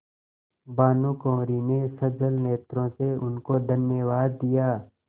भानुकुँवरि ने सजल नेत्रों से उनको धन्यवाद दिया